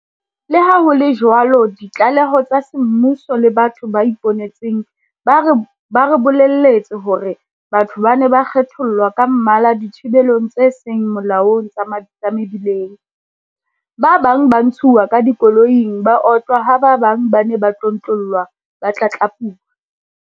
Leha ho le jwalo ditlaleho tsa semmuso le batho ba ipone tseng ba re bolelletse hore batho ba ne ba kgethollwa ka mmala dithibelong tse seng molaong tsa mebileng, ba bang ba ntshuwa ka dikoloing ba otlwa ha ba bang ba ne ba tlontlollwa ba tlatlapuwa.